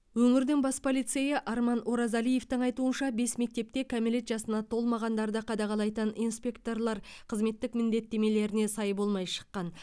өңірдің бас полицейі арман оразалиевтің айтуынша бес мектепте кәмелет жасына толмағандарды қадағалайтын инспекторлар қызметтік міндетттеріне сай болмай шыққан